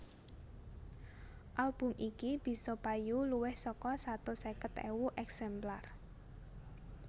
Album iki bisa payu luwih saka satus seket ewu èksemplar